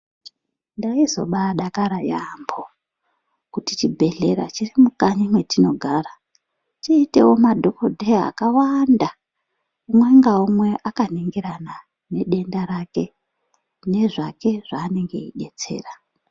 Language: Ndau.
Ndaizodakara yaampho kuti chibhedhlera chiri mukanyi mwedu, chiitewo madhokodheya akawanda, umwe naumwe akaningirana nedenda rake, nezvake zvaanenge eidetsera.